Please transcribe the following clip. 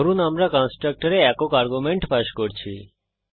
ধরুন আমরা কন্সট্রকটরে একক আর্গুমেন্ট পাস করি